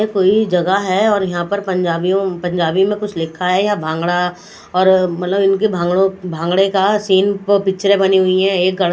ये कोई जगा है यहा पर पंजाबियों पंजाबी में कूछ लिखा है यहा भागडा पर मत्लभ इनके भाग्ड़ो का सीन पिक्चरे बनी हुई है एक--